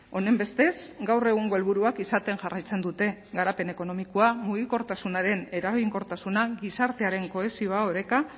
honenbestez gaur egungo helburuak izaten jarraitzen dute garapen ekonomikoa mugikortasunaren eraginkortasuna gizartearen kohesioa oreka